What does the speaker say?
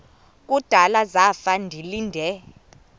kudala zafa ndilinde